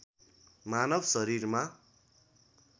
मानव शरीरमा